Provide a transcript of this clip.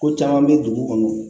Ko caman bɛ dugu kɔnɔ